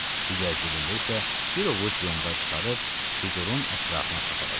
Digər cibində isə bir ovuc yonqar çıxarıb fiqurun ətrafına səpələdi.